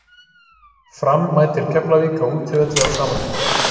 Fram mætir Keflavík á útivelli á sama tíma.